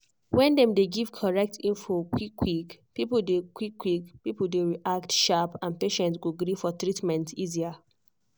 when dem dey give correct info quick-quick people dey quick-quick people dey react sharp and patients go gree for treatment easier.